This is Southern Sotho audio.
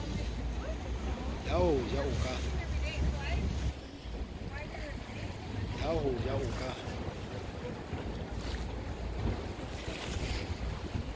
ya ho ja o ka